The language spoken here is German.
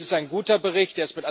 Es ist ein guter Bericht.